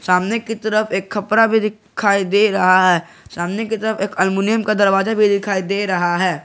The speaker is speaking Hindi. सामने की तरफ एक खपरा भी दिखाई दे रहा है सामने की तरफ एक अल्युमिनियम का दरवाजा भी दिखाई दे रहा है।